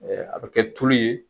a bɛ kɛ tulu ye.